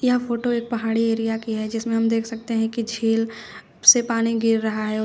यह फोटो एक पहाड़ी एरिया की है जिसमें हम देख सकते हैं की झील से पानी गिर रहा है।